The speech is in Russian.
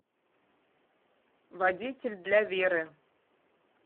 водитель для веры